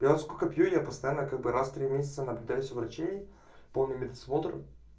я вот сколько пью я постоянно как бы раз в три месяца наблюдаюсь у врачей полный медосмотр